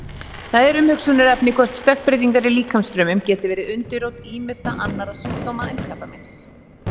Það er umhugsunarefni hvort stökkbreytingar í líkamsfrumum geti verið undirrót ýmissa annarra sjúkdóma en krabbameins.